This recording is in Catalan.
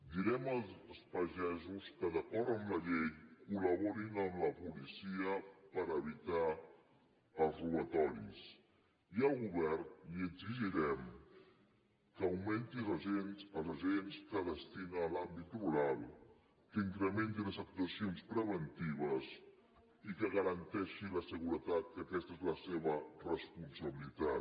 direm als pagesos que d’acord amb la llei col·laborin amb la policia per evitar els robatoris i al govern li exigirem que augmenti els agents que destina a l’àmbit rural que incrementi les actuacions preventives i que garanteixi la seguretat que aquesta és la seva responsabilitat